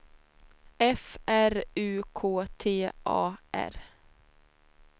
F R U K T A R